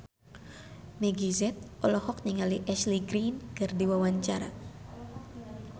Meggie Z olohok ningali Ashley Greene keur diwawancara